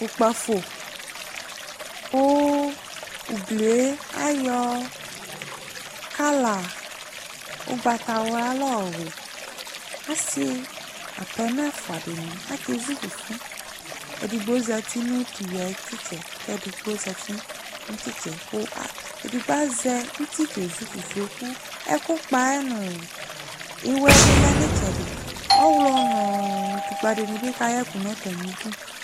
Ʋkpafo kʋ ugli yɛ ayɔ kala ʋgbatawla la yɔyʋɩ Ɔsɩ apɛnɔ ɛfʋa dɩnɩ akezu fufu Edigbo zati nʋ tʋ iyui yɛ ayʋ tʋ ɩtsɛ kʋ edigbo zati nʋ tʋ ɩtsɛ kʋ a edigbo azɛ uti kezu fufui kʋ ɛkʋkpa yɛ nʋ ɩwɛ yɛ bɩ lɛ nʋ ɩtsɛdɩ, ɔɣlɔ nʋ utukpǝ dɩnɩ bɩ kayɛ ɛkʋ nʋ atamɩdu